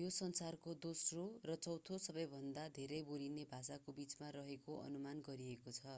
यो संसारको दोस्रो र चौथों सबैभन्दा धेरै बोलिने भाषाको बीचमा रहेको अनुमान गरिएको छ